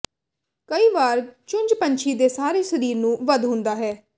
ਕਈ ਵਾਰ ਚੁੰਝ ਪੰਛੀ ਦੇ ਸਾਰੇ ਸਰੀਰ ਨੂੰ ਵੱਧ ਹੁੰਦਾ ਹੈ